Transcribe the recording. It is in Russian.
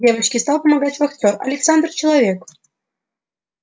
девочке стал помогать вахтер александр человек